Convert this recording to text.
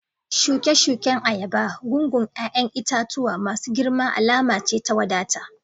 Shuke-shuken ayaba, gungun 'ya'yan itatuwa masu girma alama ce ta wadata